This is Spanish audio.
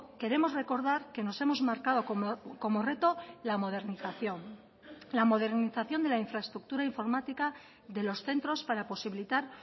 queremos recordar que nos hemos marcado como reto la modernización la modernización de la infraestructura informática de los centros para posibilitar